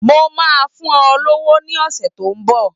Mo máa fún ọ lówó ní ọ̀sẹ̀ tó ń bọ̀.